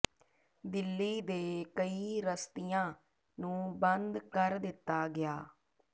ਦਿੱਲੀ ਦੇ ਕਈ ਰਸਤੀਆਂ ਨੂੰ ਬੰਦ ਕਰ ਦਿੱਤਾ ਗਿਆ